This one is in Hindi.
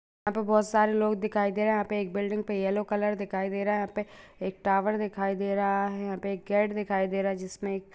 यहाँ पे बहुत सारे लोग दिखाई दे रहे हैं यहाँ पे एक बिल्डिंग् पे येलो कलर दिखाई दे रहा है यहाँ पे एक टावर दिखाई दे रहा है यहाँ पे एक गेट दिखाई दे रहा है जिसमें एक--